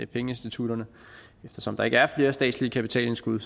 pengeinstitutterne eftersom der ikke er flere statslige kapitalindskud